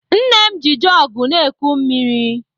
Nne m ji jọgụ na-eku mmiri.